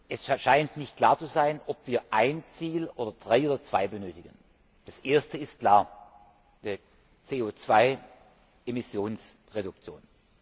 Es scheint nicht klar zu sein, ob wir ein Ziel oder drei oder zwei benötigen. Das erste ist klar die CO 2 Emissionsreduktion.